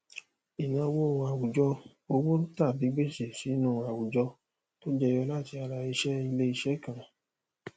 ìnáwó àwùjọ owó tàbí gbèsè sínú àwùjọ tó jẹyọ láti ara iṣẹ ilé iṣẹ kan